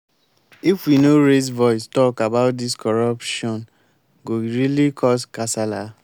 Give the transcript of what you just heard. if we no raise voice talk about dis corruptione go really cos kasala.